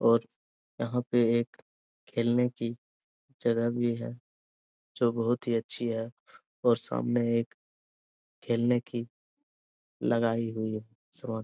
और यहाँ पे एक खेलने की जगह भी है जो बहुत ही अच्छी है और सामने एक खेलने की लगाई हुई है सामान।